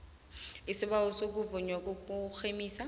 isibawo sokuvunywa kokurhemisa